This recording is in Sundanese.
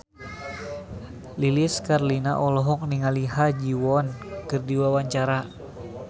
Lilis Karlina olohok ningali Ha Ji Won keur diwawancara